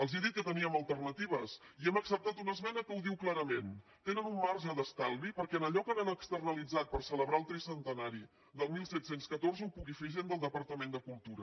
els he dit que teníem alternatives i hem acceptat una esmena que ho diu clarament tenen un marge d’estalvi perquè en allò que han externalitzat per celebrar el tricentenari del disset deu quatre ho pugui fer gent del departament de cultura